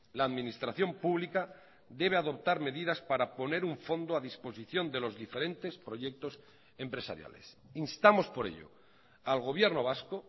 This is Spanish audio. la administración pública debe adoptar medidas para poner un fondo a disposición de los diferentes proyectos empresariales instamos por ello al gobierno vasco